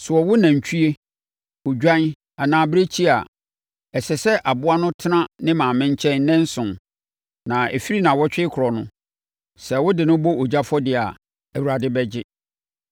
“Sɛ wɔwo nantwie, odwan anaa abirekyie a, ɛsɛ sɛ aboa no tena ne maame nkyɛn nnanson. Na ɛfiri nnawɔtwe rekorɔ no, sɛ wɔde no bɔ ogya afɔdeɛ a, Awurade bɛgye.